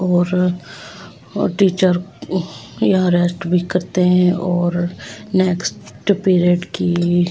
और और टीचर यहां रेस्ट भी करते हैं और नेक्स्ट पीरियड की।